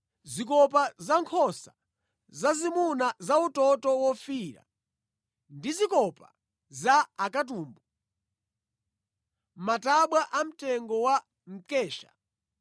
zikopa za nkhosa zazimuna za utoto wofiira ndi zikopa za akatumbu; matabwa amtengo wa mkesha;